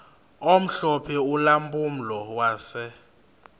omhlophe ulampulo wase